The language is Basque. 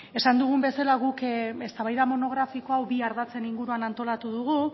esan dugun bezala guk eztabaida monografiko hau bi ardatzen inguruan antolatu dugu